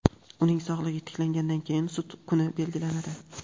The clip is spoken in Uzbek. uning sog‘lig‘i tiklangandan keyin sud kuni belgilanadi.